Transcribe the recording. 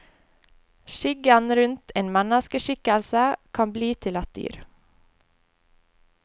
Skyggen rundt en menneskeskikkelse kan bli til et dyr.